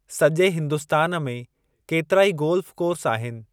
सॼे हिन्दुस्तान में केतिराई गोल्फ़ कोर्स आहिनि।